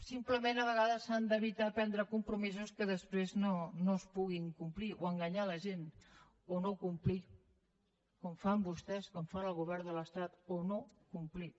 simplement a vegades s’ha d’evitar prendre compromisos que després no es puguin complir o enganyar la gent o no complir com fan vostès com fan al govern de l’estat o no complir